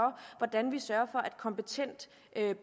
hvordan vi sørger for at kompetent